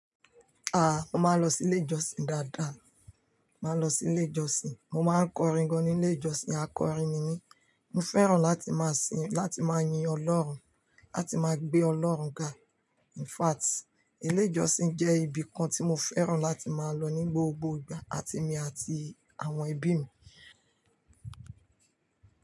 A máa ń lọ sí ilé ìjọsìn dáadáa. Mo máa lọ sí ilé ìjọsìn, mo máa ń kọrin gan ní ilé ìjọsìn, akọrin ni mí. Mo fẹ́ràn láti máa sìn, láti máa yin Ọlọ́run, láti máa gbé Ọlọ́run ga. In fact, ilé ìjọsìn jẹ́ ibi kan tí mo fẹ́ràn láti máa lọ ní gbogbo ìgbà, àti èmi àti àwọn ẹbí mi.